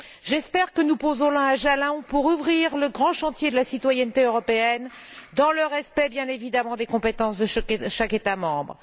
J'espère que nous posons là un jalon, pour ouvrir le grand chantier de la citoyenneté européenne dans le respect, bien évidemment, des compétences de chaque État membre.